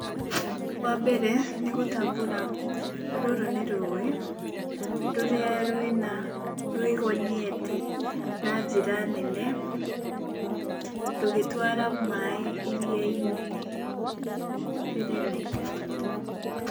Wa mbere nĩ gũtambũra rũrũ nĩ rũĩ, rũrĩa rwĩna, rũrĩa rwĩgonyete na njĩra nene rũgĩtwara maĩ iria-inĩ rĩnene.